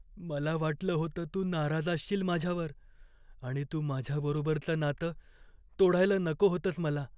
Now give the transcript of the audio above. मला वाटलं होतं तू नाराज असशील माझ्यावर आणि तू माझ्या बरोबरचं नातं तोडायला नको होतंस मला.